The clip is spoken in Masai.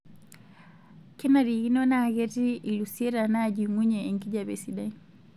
Kenarikino naa ketii iilusieta naajing'unyie enkijiape sidai.